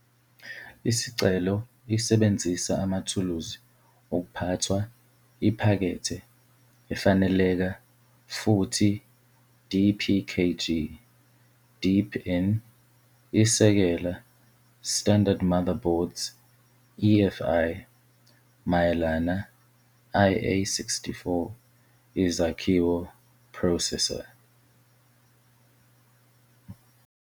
Isicelo isebenzisa amathuluzi ukuphathwa iphakethe efaneleka futhi dpkg deepin isekela standard motherboards EFI, mayelana IA-64 izakhiwo processor.